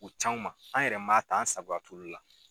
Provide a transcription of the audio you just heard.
U c'anw ma an yɛrɛ man ta an sagoya t'ulu la.